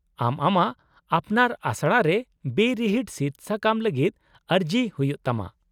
-ᱟᱢ ᱟᱢᱟᱜ ᱟᱯᱱᱟᱨ ᱟᱥᱲᱟ ᱨᱮ ᱵᱮᱼᱨᱤᱦᱤᱴ ᱥᱤᱫᱥᱟᱠᱟᱢ ᱞᱟᱹᱜᱤᱫ ᱟᱹᱨᱤᱡ ᱦᱩᱭᱩᱜ ᱛᱟᱢᱟ ᱾